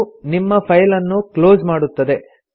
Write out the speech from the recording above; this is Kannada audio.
ಇದು ನಿಮ್ಮ ಫೈಲ್ ಅನ್ನು ಕ್ಲೊಸ್ ಮಾಡುತ್ತದೆ